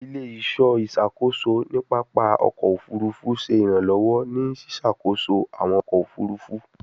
Ile-iṣọ iṣakoso ni papa ọkọ ofurufu ṣe iranlọwọ ni ṣiṣakoso awọn ọkọ ofurufu